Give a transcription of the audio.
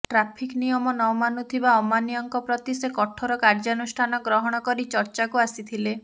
traffic ନିୟମ ମାନୁନଥିବା ଅମାନିଆଙ୍କ ପ୍ରତି ସେ କଠୋର କାର୍ଯ୍ୟାନୁଷ୍ଠାନ ଗ୍ରହଣ କରି ଚର୍ଚ୍ଚାକୁ ଆସିଥିଲେ